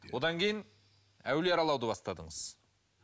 одан кейін әулие аралауды бастадыңыз